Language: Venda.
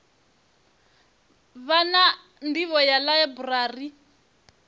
vha na nḓivho ya ḽaiburari